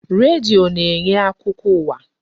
Redio na-enye akụkọ ụwa.